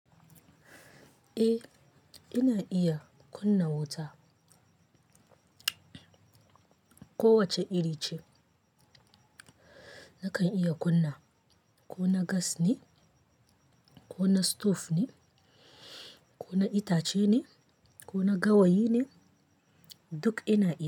Eh, ina iya kunna wuta. Ko wace iri ce nakan iya kunna. Ko na gas ne, ko na stove ne, ko na itace ne, ko na gawayi ne, duk ina iya wa.